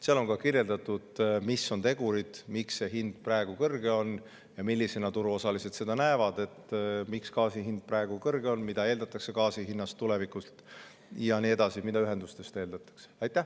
Seal on kirjeldatud, mis on tegurid, mille tõttu see hind praegu kõrge on, miks turuosaliste gaasi hind praegu kõrge on, mida eeldatakse gaasi hinnast tulevikus, mida eeldatakse ühendustest ja nii edasi.